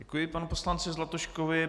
Děkuji panu poslanci Zlatuškovi.